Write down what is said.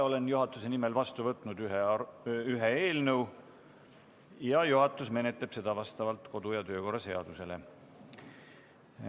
Olen juhatuse nimel vastu võtnud ühe eelnõu ja juhatus menetleb seda vastavalt kodu- ja töökorra seadusele.